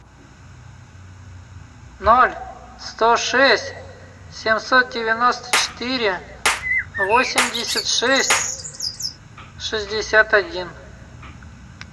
ноль сто шесть семьсот девяносто четыре восемьдесят шесть шестьдесят один